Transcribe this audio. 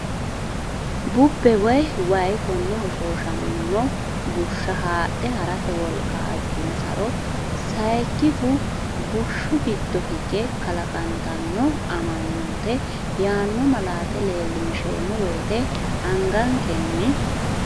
Bubbe woy wayi konne hoshoosham ino bushsha haadhe harate wolqa ajjunsaro sayikkihu bushshu giddo higa kalaqantanno, Amanyoote yaanno malaate leellinsheemmo wote angankenni?